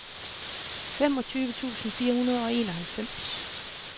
femogtyve tusind fire hundrede og enoghalvfems